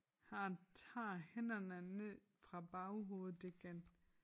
Han tager hænderne ned fra baghovedet igen